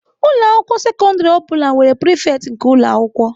Ụlọ akwụkwọ sekọndrị ọ bụla nwere prefect nke ụlọ akwụkwọ.